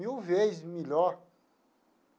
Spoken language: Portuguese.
Mil vezes melhor.